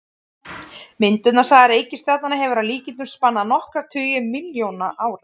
Myndunarsaga reikistjarnanna hefur að líkindum spannað nokkra tugi milljóna ára.